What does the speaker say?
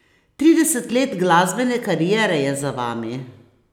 Trideset let glasbene kariere je za vami.